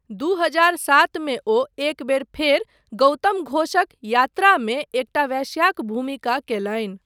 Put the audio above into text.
दू हजार सात मे ओ एक बेर फेर गौतम घोषक 'यात्रा' मे एकटा वेश्याक भूमिका कयलनि।